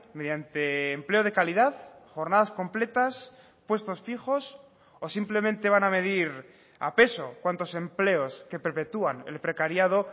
mediante empleo de calidad jornadas completas puestos fijos o simplemente van a medir a peso cuántos empleos que perpetuán el precariado